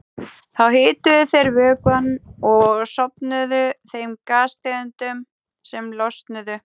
Þá hituðu þeir vökvann og söfnuðu þeim gastegundum sem losnuðu.